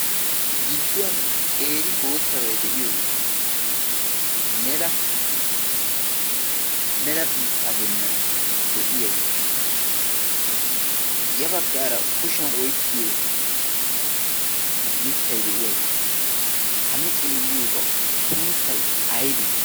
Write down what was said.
gidduwan qeeri boottabai de7iyoogee mela biittaa bollan de7iyaagee ya baggaara kushiyan oikkiyo mittai de7iyaagee ha nu xeelliyoogau sunttai aibee?